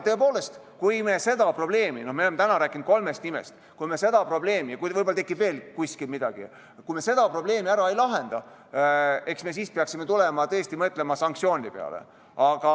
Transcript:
Tõepoolest, kui me seda probleemi – me oleme täna rääkinud kolmest nimest, kuid võib-olla tekib veel kuskil midagi sellist – ära ei lahenda, eks me siis peaksime tõesti mõtlema sanktsioonide peale.